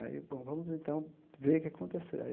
Aí, bom, vamos, então, ver o que aconteceu.